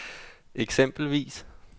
eksempelvis